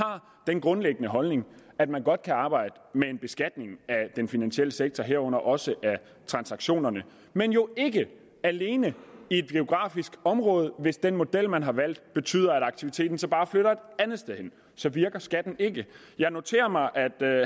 den grundlæggende holdning at man godt kan arbejde med en beskatning af den finansielle sektor herunder også af transaktionerne men jo ikke alene i ét geografisk område hvis den model man har valgt betyder at aktiviteten så bare flytter et andet sted hen så virker skatten ikke jeg noterer mig at